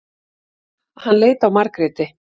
Hann leit á Margréti.